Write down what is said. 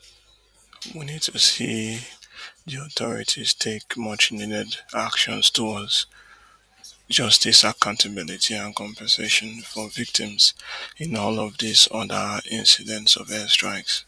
we need to see di authorities take much needed action towards justice accountability and compensation for victims in all of dis oda incidents of air strikes